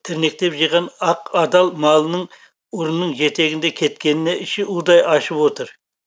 тірнектеп жиған ақ адал малының ұрының жетегінде кеткеніне іші удай ашып отыр